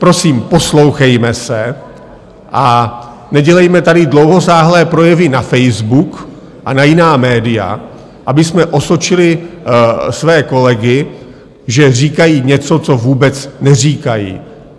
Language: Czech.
Prosím, poslouchejme se a nedělejme tady dlouhosáhlé projevy na Facebook a na jiná média, abychom osočili své kolegy, že říkají něco, co vůbec neříkají.